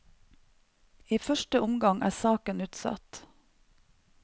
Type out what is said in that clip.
I første omgang er saken utsatt.